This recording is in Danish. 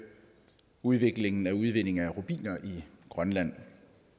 udviklingen af udvinding af rubiner i grønland